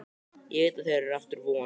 Ég veit að þeirra er aftur von.